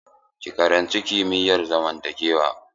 Ki karanci kimiyar zamantakewa!